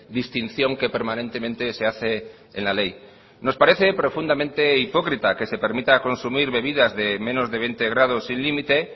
distinción que permanentemente se hace en la ley nos parece profundamente hipócrita que se permita consumir bebidas de menos de veinte grados sin límite